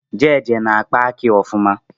Jeje na-akpa akị ọfụma